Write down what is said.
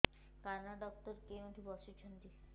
କାନ ଡକ୍ଟର କୋଉଠି ବସୁଛନ୍ତି